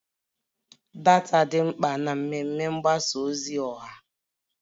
Data dị mkpa na mmemme mgbasa ozi ọha